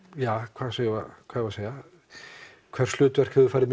hvað eigum við að segja hvers hlutverk hefur farið